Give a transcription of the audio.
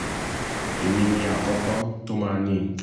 èmi ni ẹni àkọ́kọ́ tó máa ní i